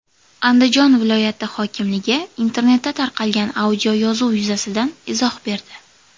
Andijon viloyati hokimligi internetda tarqalgan audioyozuv yuzasidan izoh berdi.